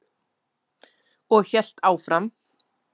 Og hélt áfram: